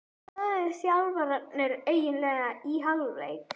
Hvað sögðu þjálfararnir eiginlega í hálfleik?